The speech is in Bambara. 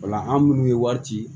Ola an munnu ye wari ci